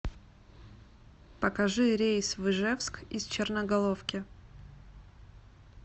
покажи рейс в ижевск из черноголовки